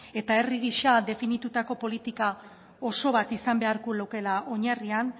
eta herri gisa definitutako politika oso bat izan beharko lukeela oinarrian